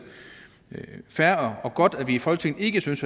fair og godt at vi i folketinget ikke synes